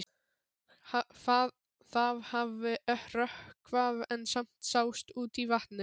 Það hafði rökkvað en samt sást út á vatnið.